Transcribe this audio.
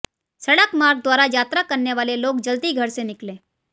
सड़क मार्ग द्वारा यात्रा करने वाले लोग जल्दी घर से निकलें